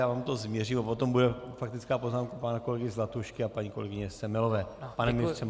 Já vám to změřím a potom bude faktická poznámka pana kolegy Zlatušky a paní kolegyně Semelové.